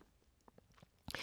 DR1